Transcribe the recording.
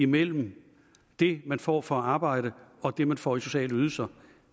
mellem det man får for at arbejde og det man får i sociale ydelser